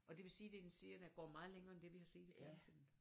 Og det vil sige det er en serie der går meget længere end det vi har set i fjernsynet